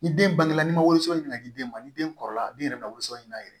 Ni den bangena ni ma woson nana di den ma ni den kɔrɔbaya den yɛrɛ bɛ woson ɲinin a yɛrɛ ye